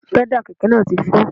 Pẹ́dà kẹ̀kẹ́ náà ti fọ́